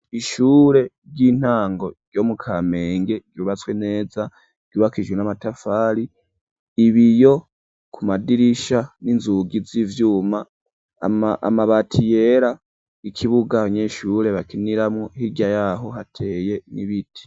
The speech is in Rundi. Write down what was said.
Ishure ry'intango ryo mu kamenge ryubatswe neza ryubakishijwe n'amatafari ibiyo ku madirisha n'inzugi z'ivyuma amabati yera ikibuga abanyeshure bakiniramwo hirya yaho hateye mw'ibiti.